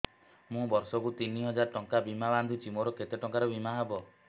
ମୁ ବର୍ଷ କୁ ତିନି ହଜାର ଟଙ୍କା ବୀମା ବାନ୍ଧୁଛି ମୋର କେତେ ଟଙ୍କାର ବୀମା ହବ